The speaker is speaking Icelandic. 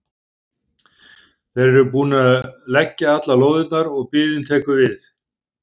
Þeir eru búnir að leggja allar lóðirnar og biðin tekur við.